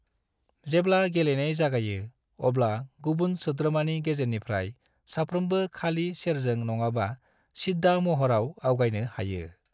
जेब्ला गेलेनाय जागायो, अब्ला गुबुन सोद्रोमानि गेजेरनिफ्राय साफ्रोमबो खालि सेरजों नङाबा सिद्दा महराव आवगायनो हायो।